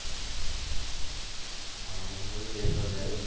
હા હું મૃદેશ્વર